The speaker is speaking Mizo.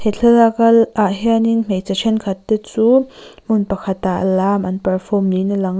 thlalak a ah hianin hmeichhe thenkhat te chu hmun pakhatah lam an perform niin a lang a.